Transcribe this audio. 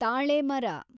ತಾಳೆ ಮರ